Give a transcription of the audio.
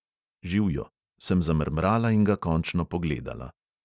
"Živjo," sem zamrmrala in ga končno pogledala.